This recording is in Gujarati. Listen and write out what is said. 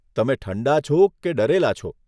તમે ઠંડા છો કે ડરેલા છો?